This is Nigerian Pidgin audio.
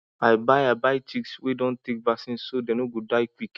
i buy i buy chicks wey don take vaccine so dem no go die quick